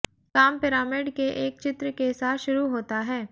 काम पिरामिड के एक चित्र के साथ शुरू होता है